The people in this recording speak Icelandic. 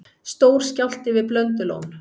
Stór skjálfti við Blöndulón